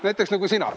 Näiteks nagu sina.